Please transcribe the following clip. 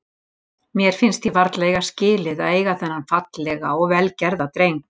Mér finnst ég vart eiga skilið að eiga þennan fallega og vel gerða dreng.